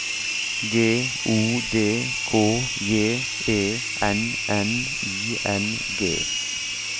G O D K J E N N I N G